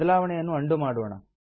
ಬದಲಾವಣೆಯನ್ನು ಅಂಡು ಮಾಡೋಣ